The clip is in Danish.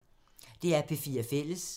DR P4 Fælles